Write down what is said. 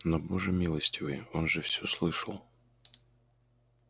но боже милостивый он же все слышал